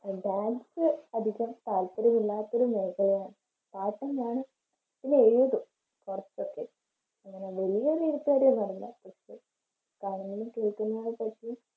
dance പഠിക്കാൻ താല്പര്യം ഇല്ലാത്തതുകൊണ്ട് പാട്ടുമാണ്